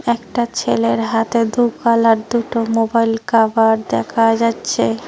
একটা ছেলের হাতে দু কালার দুটো মোবাইল কাভার দেখা যাচ্ছে।